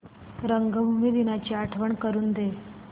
रंगभूमी दिनाची आठवण करून दे